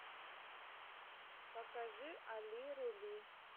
покажи али рули